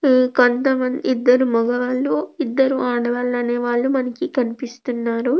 కొంత మంది ఇద్దరు మగవాళ్ళు ఇద్దరు ఆడవాళ్ళు అనేవాళ్లూ మనకి కనిపిస్తున్నారు.